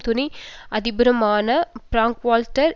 துணை அதிபருமான பிரங்க்வால்ட்டர்